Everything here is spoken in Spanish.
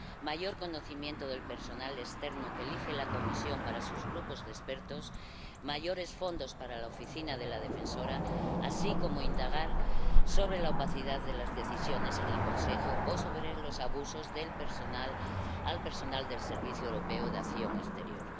un mayor conocimiento del personal externo que elige la Comisión para sus grupos de expertos y mayores fondos para la Oficina del Defensor del Pueblo, así como como indagar sobre la opacidad de las decisiones en el Consejo o sobre los abusos al personal del Servicio Europeo de Acción Exterior.